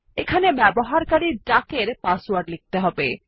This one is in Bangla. এখানে ব্যবহারকারী ডাক এর পাসওয়ার্ড লিখতে হবে